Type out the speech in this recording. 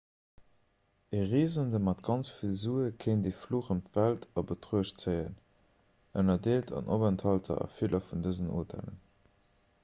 e reesende mat ganz vill sue kéint e fluch ëm d'welt a betruecht zéien ënnerdeelt an openthalter a ville vun dësen hotellen